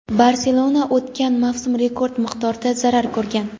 "Barselona" o‘tgan mavsum rekord miqdorda zarar ko‘rgan.